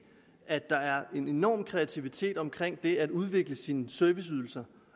at der er en enorm kreativitet omkring det at udvikle sine serviceydelser